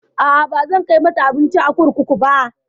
A'a, bazan kai mata abinci a kurkuku ba.